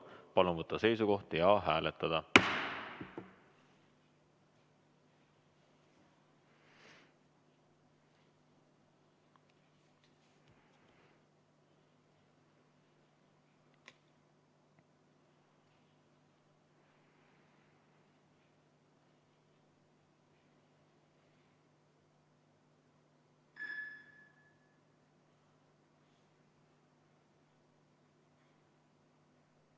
Palun võtta seisukoht ja hääletada!